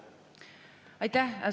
Aitäh!